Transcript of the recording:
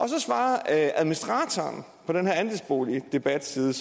så svarer administratoren af den her andelsboligdebatside